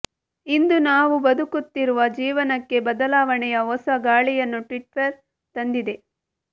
ಇಂದು ನಾವು ಬದುಕುತ್ತಿರುವ ಜೀವನಕ್ಕೆ ಬದಲಾವಣೆಯ ಹೊಸ ಗಾಳಿಯನ್ನು ಟ್ವಿಟ್ಟರ್ ತಂದಿದೆ